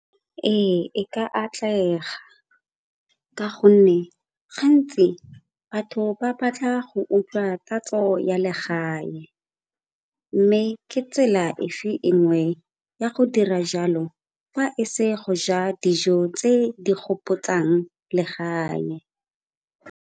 Ee, e ka atlega ka gonne gantsi batho ba batla go utlwa tatso ya legae mme ke tsela efe e nngwe ya go dira jalo fa e se go ja dijo tse di gopotsang legae.